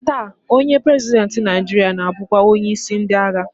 Taa, onye prezidentị Naịjiria na-abụkwa onyeisi ndị agha